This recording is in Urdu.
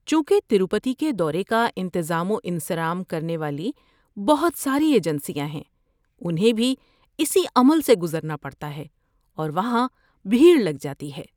چونکہ تروپتی کے دورے کا انتظام و انصرام کرنے والی بہت ساری ایجنسیاں ہیں، انہیں بھی اسی عمل سے گزرنا پڑتا ہے اور وہاں بھیڑ لگ جاتی ہے۔